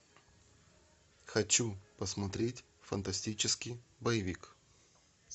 хочу посмотреть фантастический боевик